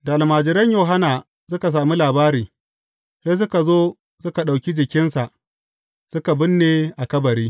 Da almajiran Yohanna suka sami labari, sai suka zo suka ɗauki jikinsa suka binne a kabari.